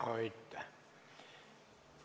Aitäh!